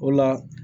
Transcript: O la